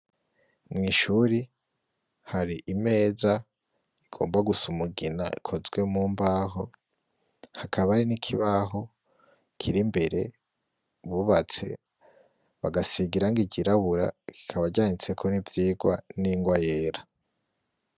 Mw'ishuri hari imeza igomba gusa umugina, ikozwe mu mbaho, hakaba hari n'ikibaho kiri imbere bubatse, bagasiga irangi ryirabura, kikaba canditseko n'ivyigwa n'ingwa yera.